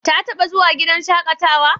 Ta taɓa zuwa gidan shaƙatawa?